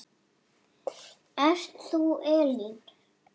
Ert þú Elín?